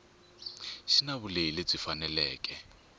xi na vulehi lebyi faneleke